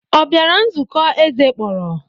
Ọ bịara nzukọ eze kpọrọ?